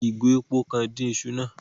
Wón fí ìgò èpò kàn dín iṣu náà